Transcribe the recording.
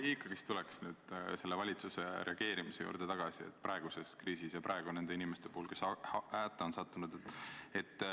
Ma ikkagi tulen tagasi valitsuse reageerimise juurde, et praeguses kriisis hätta sattunud inimesi aidata.